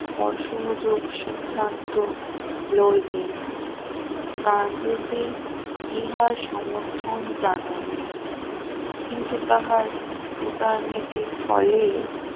অসহযোগ সিদ্ধান্ত রইলেন গান্ধিজি ইহার সমর্থন জানাইলেন কিন্তু তাহার উদারনীতির ফলে